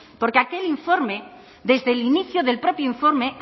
porque aquel informe desde el inicio del propio informe